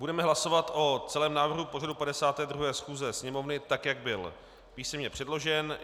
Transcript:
Budeme hlasovat o celém návrhu pořadu 52. schůze Sněmovny, tak jak byl písemně předložen.